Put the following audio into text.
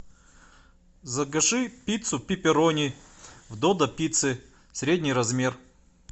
закажи пиццу пепперони в додо пицце средний размер